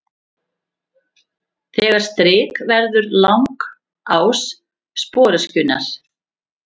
Þetta strik verður langás sporöskjunnar.